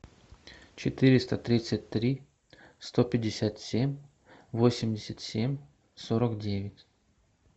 четыреста тридцать три сто пятьдесят семь восемьдесят семь сорок девять